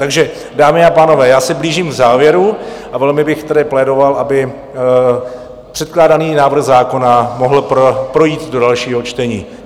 Takže, dámy a pánové, já se blížím k závěru a velmi bych tedy plédoval, aby předkládaný návrh zákona mohl projít do dalšího čtení.